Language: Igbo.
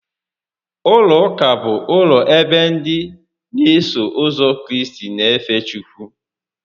Ụlọ ụka bụ ụlọ ebe ndị n'eso ụzọ Kraịst n'efe Chukwu